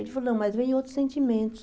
Ele falou, não, mas vem outros sentimentos.